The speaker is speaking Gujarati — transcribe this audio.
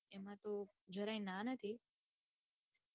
એમાં તો જરાય ના નથી.